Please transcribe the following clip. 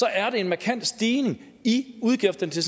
er det en markant stigning i udgifterne til